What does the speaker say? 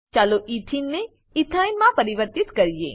ચાલો એથેને ઇથીન ને એથીને ઇથાઈન માં પરિવર્તિત કરીએ